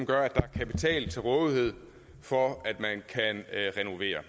gør at der er kapital til rådighed for at man kan renovere